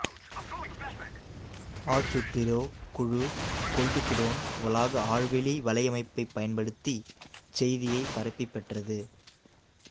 Astro குழு Goldstone வளாக ஆழ்வெளி வலையமைப்பைப் பயன்படுத்திச் செய்தியை பரப்பிப் பெற்றது